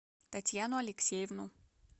татьяну алексеевну